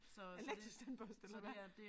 Elektrisk tandbørste eller hvad